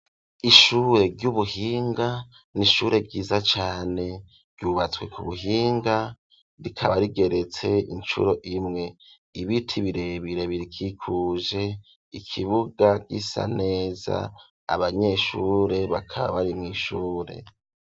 Ishure ry'ubuhinga n'ishure ryiza cane ryubatswe ku buhinga rikaba rigeretse incuro imwe ibiti birebire birkikuje ikibuga gisa neza abanyeshure bakaba bari mw'ishure.